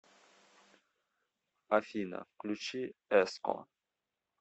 афина включи эско